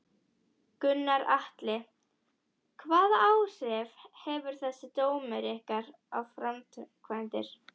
Gunnar Atli: Hvaða áhrif hefur þessi dómur á ykkar framkvæmdir?